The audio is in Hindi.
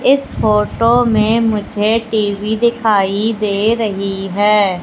इस फोटो में मुझे टी_वी दिखाई दे रही है।